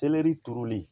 turulen